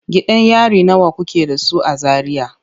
Gidan yari nawa kuke da su a Zaria?